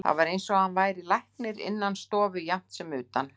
Það var eins og hann væri læknir innan stofu jafnt sem utan.